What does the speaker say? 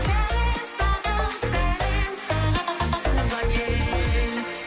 сәлем саған сәлем саған туған ел